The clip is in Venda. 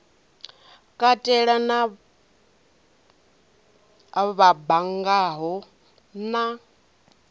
katela na vha banngaho na